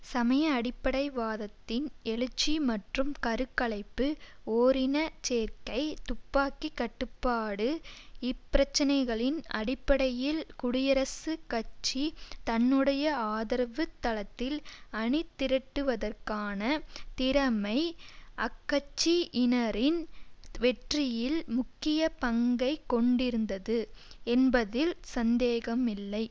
சமய அடிப்படைவாதத்தின் எழுச்சி மற்றும் கரு கலைப்பு ஓரின சேர்க்கை துப்பாக்கி கட்டுப்பாடு இப்பிரச்சினைகளின் அடிப்படையில் குடியரசுக் கட்சி தன்னுடைய ஆதரவுத் தளத்தில் அணிதிரட்டுவதற்கான திறமை அக்கட்சியினரின் வெற்றியில் முக்கிய பங்கை கொண்டிருந்தது என்பதில் சந்தேகமில்லை